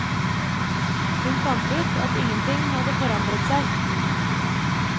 Hun fant ut at ingenting hadde forandret seg.